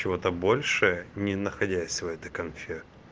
чего то больше не находилось в этой конфе